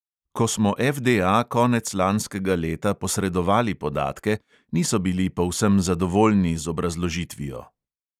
Ko smo FDA konec lanskega leta posredovali podatke, niso bili povsem zadovoljni z obrazložitvijo.